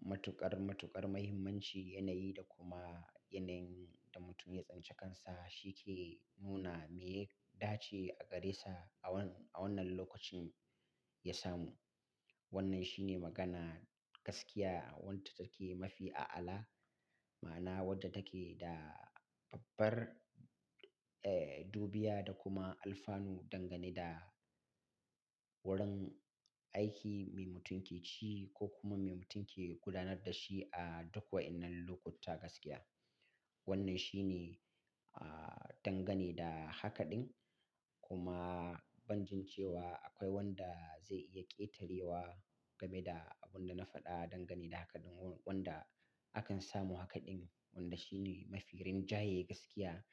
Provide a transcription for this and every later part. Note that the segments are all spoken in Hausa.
matuƙar, matuƙar mahimmanci, yanayi da kuma yanayin da mutum ya tsince kansa, shi ke nuna me ya dace a gare sa a wan-a wannan lokacin ya samu. Wannan shi ne magana, gaskiya wadda take mafi a'ala, ma'ana wadda take da babbar, eh, dubiya da kuma alfanu dangane da, wurin aiki me mutum ke ci, ko kuma me mutum ke gudanar da shi a duk wa'inan lokuta gaskiya. Wannan shi ne, ah, dangane da haka ɗin. Kuma ban jin cewa akwai wanda zai iya ƙetarewa, game da abun da na faɗa dangane da haka ɗin, wan-wanda akan samu haka ɗin, wanda shi ne mafi rinjaye gaskiya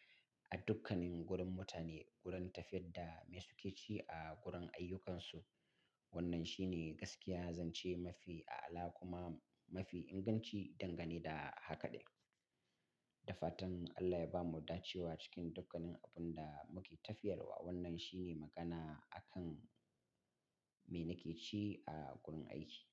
a dukkanin gurin mutane, gurin tafiyar da me suke ci a gurin ayyukansu. Wannan shi ne gaskiya zance mafi a'ala, kuma mafi inganci dangane da haka ɗin. Da fatan Allah ya bamu dacewa cikin dukkanin abun da muke tafiyar wa. Wannan shi ne magana akan me nake ci a gurin aiki.